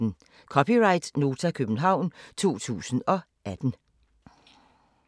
(c) Nota, København 2018